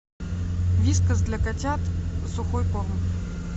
вискас для котят сухой корм